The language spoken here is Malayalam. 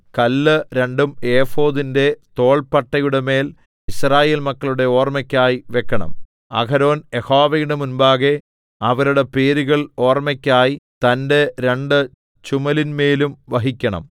കല്ല് രണ്ടും ഏഫോദിന്റെ തോൾപ്പട്ടയുടെമേൽ യിസ്രായേൽ മക്കളുടെ ഓർമ്മയ്ക്കായി വെക്കണം അഹരോൻ യഹോവയുടെ മുമ്പാകെ അവരുടെ പേരുകൾ ഓർമ്മയ്ക്കായി തന്റെ രണ്ട് ചുമലിന്മേലും വഹിക്കണം